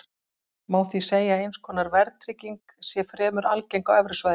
Má því segja að eins konar verðtrygging sé fremur algeng á evrusvæðinu.